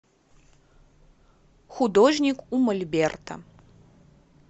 художник у мольберта